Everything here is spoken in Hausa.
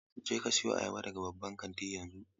Je ka siyo ayaba daga babban kantin yanzu!